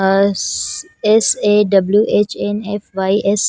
us S A W_ H N F Y S --